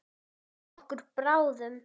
Okkur báðum.